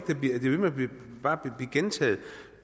det bliver ved med bare at blive gentaget